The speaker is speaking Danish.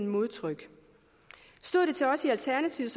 modtryk stod det til os i alternativet